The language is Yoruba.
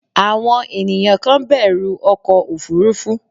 àwọn ènìyàn kan bẹ̀rù ọkọ òfurufú